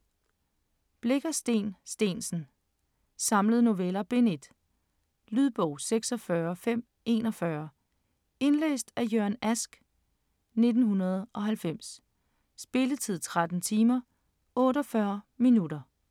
Blicher, Steen Steensen: Samlede noveller: Bind 1 Lydbog 26541 Indlæst af Jørgen Ask, 1990. Spilletid: 13 timer, 48 minutter.